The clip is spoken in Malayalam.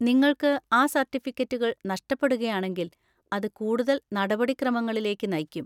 നിങ്ങൾക്ക് ആ സർട്ടിഫിക്കറ്റുകൾ നഷ്‌ടപ്പെടുകയാണെങ്കിൽ, അത് കൂടുതൽ നടപടിക്രമങ്ങളിലേക്ക് നയിക്കും.